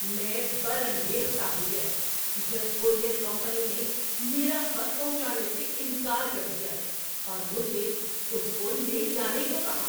میں برانگیختہ ہو گیا جب کورئیر کمپنی نے میرا خط پہنچانے سے انکار کر دیا اور مجھے اس کو لے جانے کو کہا۔